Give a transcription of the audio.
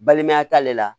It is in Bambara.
Balimaya t'ale la